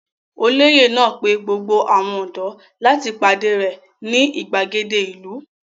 Olóyè náà pe gbogbo àwọn ọ̀dọ́ láti pàdé rẹ̀ ní ìgbàgede ìlú?